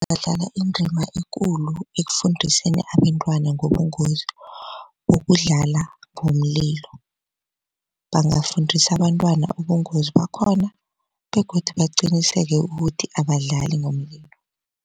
Badlala indima ekulu ekufundiseni abentwana ngobungozi bokudlala ngomlilo. Bangafundisa abantwana ubungozi bakhona begodu baqiniseke ukuthi abadlali ngomlilo.